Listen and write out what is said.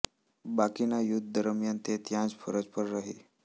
બાકીના યુદ્ધ દરમિયાન તે ત્યાં જ ફરજ પર રહી